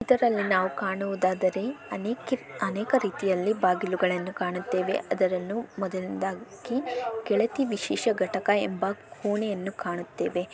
ಇದರಲ್ಲಿ ನಾವು ಕಾಣುವುದಾದರೆ ಅನೇಕ ರೀತಿಯಲ್ಲಿ ಬಾಗಿಲುಗಳನ್ನು ಕಾಣುತ್ತೇವೆ. ಅದರನ್ನು ಮೊದಲಾಗಿ ಕೆಳಕ್ಕೆ ವಿಶೇಷ ಘಟಕ ಎಂಬ ಕೋಣೆಯನ್ನು ಕಾಣುತ್ತೇವೆ.